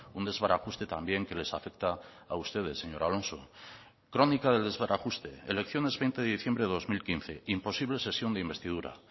un desbarajuste también que les afecta a ustedes señor alonso crónica del desbarajuste elecciones veinte de diciembre de dos mil quince imposible sesión de investidura